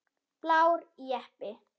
Blár jeppi.